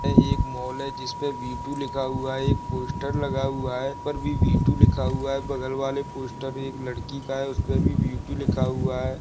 ये एक मॉल है। जिसपे वीटू लिखा हुआ है। एक पोस्टर लगा हुआ है। पर भी वीटू लिखा हुआ है। बगल वाले पोस्टर एक लड़की का है। उसपे भी वीटू लिखा हुआ है।